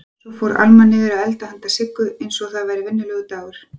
Svo fór Alma niður að elda handa Siggu einsog það væri venjulegur dagur.